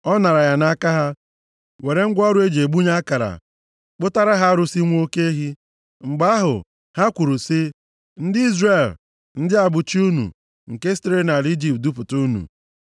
Ọ naara ya nʼaka ha, were ngwa ọrụ e ji egbunye akara, kpụtara ha arụsị nwa oke ehi. Mgbe ahụ, ha kwuru sị, “Ndị Izrel, ndị a bụ chi unu, nke sitere nʼala Ijipt dupụta unu.”